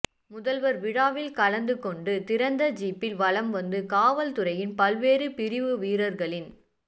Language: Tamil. முதல்வர் விழாவி்ல் கலந்து கொண்டு திறந்த ஜீப்பில் வலம் வந்து காவல் துறையின் பல்வேறு பிரிவு வீரர்களின்